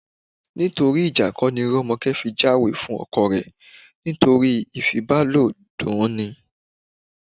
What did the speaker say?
Nítorí ìjà kọ́ ni Rọ́mọkẹ́ fi jáwèé fún ọkọ rẹ̀, nítorí ìfibàlòọ̀ dunni ni